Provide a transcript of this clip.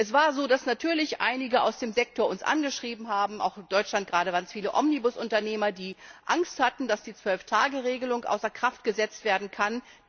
Es war so, dass natürlich einige aus dem Sektor uns angeschrieben haben gerade in Deutschland waren es viele Omnibusunternehmer die Angst hatten, dass die Zwölf Tage Regelung außer Kraft gesetzt werden kann.